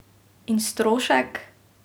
In strošek?